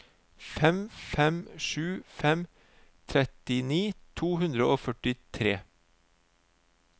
fem fem sju fem trettini to hundre og førtitre